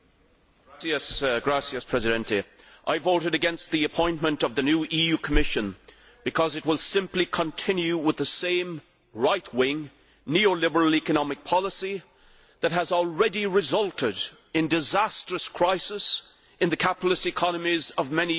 Mr President, I voted against the appointment of the new EU Commission because it will simply continue with the same right wing, neoliberal economic policy that has already resulted in disastrous crisis in the capitalist economies of many EU States.